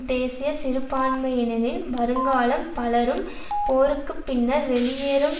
தேசிய சிறுபான்மையினரின் வருங்காலம் பலரும் போருக்கு பின்னர் வெளியேறும்